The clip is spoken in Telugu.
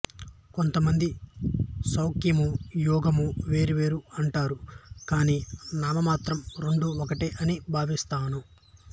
కొంత మంది సాంఖ్యము యోగము వేరు వేరు అంటారు కాని నాను మాత్రం రెండూ ఒకటే అని భావిస్తాను